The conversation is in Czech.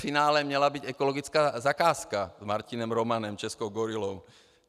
Finále měla být ekologická zakázka s Martinem Romanem, českou gorilou.